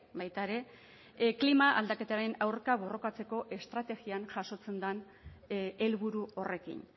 baita ere klima aldaketaren aurka borrokatzeko estrategian jasotzen den helburu horrekin